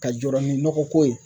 Ka jɔrɔ ni nɔgɔ ko ye